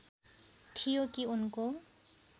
थियो कि उनको